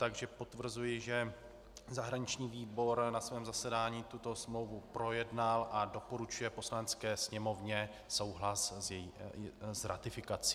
Takže potvrzuji, že zahraniční výbor na svém zasedání tuto smlouvu projednal a doporučuje Poslanecké sněmovně souhlas s její ratifikací.